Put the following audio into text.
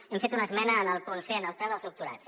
hem fet una esmena en el punt c en el preu dels doctorats